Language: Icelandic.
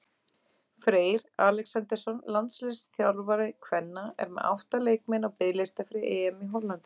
Freyr Alexandersson, landsliðsþjálfari kvenna, er með átta leikmenn á biðlista fyrir EM í Hollandi.